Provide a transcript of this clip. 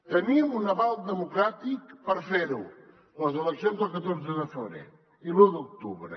tenim un aval democràtic per fer ho les eleccions del catorze de febrer i l’u d’octubre